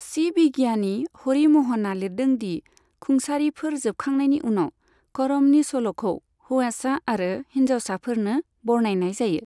सि बिगियानि हरि म'हनआ लिरदों दि खुंसारिफोर जोबखांनायनि उनाव, करमनि सल'खौ हौवासा आरो हिन्जावसाफोरनो बरनायनाय जायो।